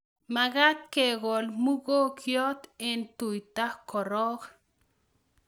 Magat kekol mugongiot eng' tuta korok